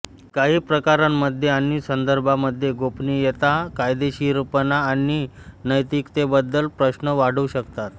काही प्रकरणांमध्ये आणि संदर्भांमध्ये गोपनीयता कायदेशीरपणा आणि नैतिकतेबद्दल प्रश्न वाढवू शकतात